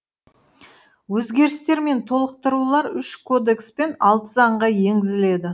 өзгерістер мен толықтырулар үш кодекс пен алты заңға енгізіледі